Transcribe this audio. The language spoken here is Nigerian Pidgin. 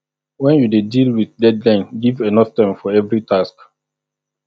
when you dey deal with deadline give enough time for every task